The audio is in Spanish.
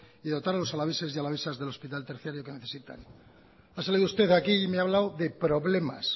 y dotar a los alaveses y alavesas del hospital terciario que necesitan ha salido usted aquí y me ha hablado de problemas